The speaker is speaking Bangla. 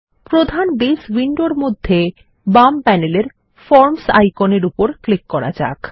প্রধান বেস উইন্ডোর মধ্যে বাম প্যানেলের ফরমস আইকনের উপর ক্লিক করা যাক